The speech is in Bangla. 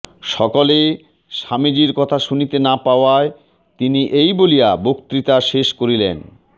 সকলে স্বামীজীর কথা শুনিতে না পাওয়ায় তিনি এই বলিয়া বক্তৃতা শেষ করিলেনঃ